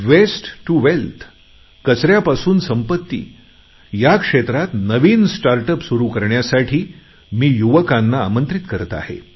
waste to वेल्थकचऱ्यापासून संपत्ती या क्षेत्रात नवीन स्टार्ट अप सुरु करण्यासाठी मी युवकांना आमंत्रित करत आहे